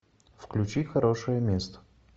включи хорошее место